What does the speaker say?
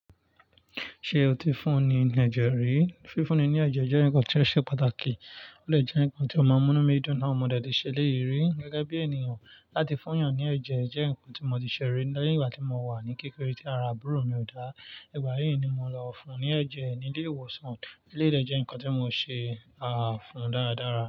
Ṣe o ti fún ní ẹ̀jẹ̀ rí? Fífúnni ní ẹ̀jẹ̀ jẹ́ nǹkan tó ṣe pàtàkì, ó lè jẹ́ nǹkan tí ó máa mú inú mi dúná. Ọmọdé lè ṣe léyìí rí gẹ́gẹ́ bí ènìyàn láti fún ìyàn ní ẹ̀jẹ̀, jẹ́ nǹkan tí mo ti ṣe rí láti ìgbà tí mo wà ní kékeré tí ara àbúrò mi ò dá, ìgbà yí ni mo lọ fún un ní ẹ̀jẹ̀ ẹni lé ìwòsàn. Eléyìí dẹ̀ jẹ́ ǹkan tí mo ṣe fún un dáradára.